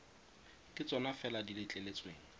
ke tsona fela di letleletsweng